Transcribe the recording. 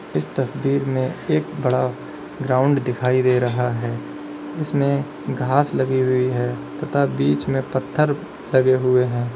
इस तस्वीर में एक बड़ा ग्राउंड दिखाई दे रहा है इसमें घास लगी हुई है तथा बीच में पत्थर लगे हुए हैं।